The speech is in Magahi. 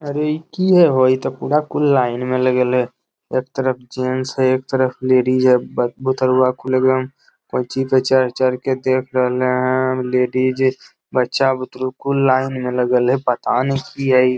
अरे इ की हो ओ इ तो पूरा कुल लाइन में लगल हो एक तरफ जेंट्स है एक तरफ लेडीज है ब बुतुरवा कुल एकदम कोची में चढ़-चढ़ के देख रहल हैं लेडीज बच्चा बुतरु कुल लाइन में लगल है पता नै की हई।